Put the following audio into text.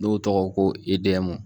N'o tɔgɔ ko idɛmu